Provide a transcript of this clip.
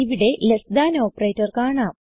ഇവിടെ less than operator കാണാം